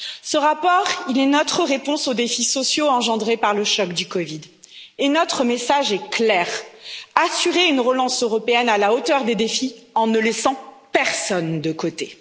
Ce rapport est notre réponse au défis sociaux engendrés par le choc de la COVID et notre message est clair assurer une relance européenne à la hauteur des défis en ne laissant personne de côté.